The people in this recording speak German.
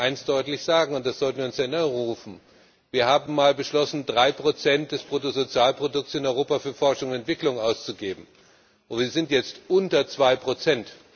Aber ich möchte eins deutlich sagen, und das sollten wir uns in Erinnerung rufen Wir haben einmal beschlossen, drei Prozent des Bruttosozialprodukts in Europa für Forschung und Entwicklung auszugeben, und wir sind jetzt bei unter zwei Prozent.